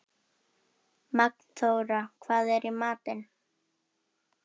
Magnþóra, hvað er í matinn?